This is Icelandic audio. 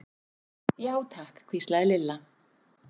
Já, takk hvíslaði Lilla.